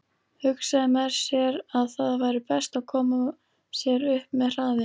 Hugsaði með sér að það væri best að koma sér upp með hraði.